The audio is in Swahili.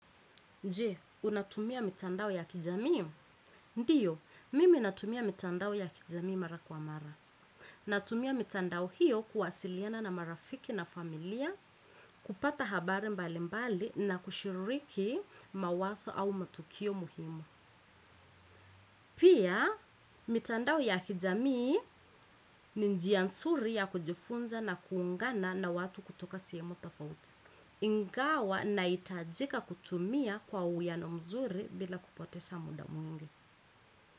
Je, unatumia mitandao ya kijamii? Ndiyo, mimi natumia mitandao ya kijamii mara kwa mara. Natumia mitandao hiyo kuwasiliana na marafiki na familia, kupata habari mbali mbali na kushiriki mawazo au matukio muhimu. Pia mitandao ya kijamii ni njia nzuri ya kujifunza na kuungana na watu kutoka sehemu tofauti. Ingawa nahitajika kuutumia kwa uwiano mzuri bila kupoteza muda mwingi.